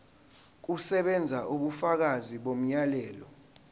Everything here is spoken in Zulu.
kusebenza ubufakazi bomyalelo